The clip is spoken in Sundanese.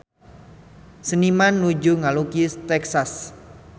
Seniman nuju ngalukis Texas